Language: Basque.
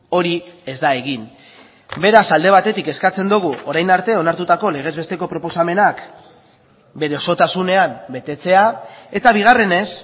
hori ez da egin beraz alde batetik eskatzen dugu orain arte onartutako legez besteko proposamenak bere osotasunean betetzea eta bigarrenez